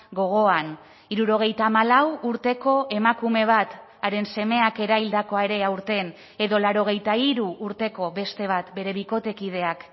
gogoan hirurogeita hamalau urteko emakume bat haren semeak eraildakoa ere aurten edo laurogeita hiru urteko beste bat bere bikotekideak